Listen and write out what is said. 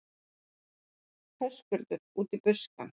Höskuldur: Út í buskann?